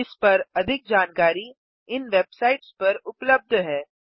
इस पर अधिक जानकारी इन वेबसाइट्स पर उबलब्ध है